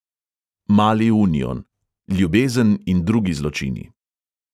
Mali union: ljubezen in drugi zločini.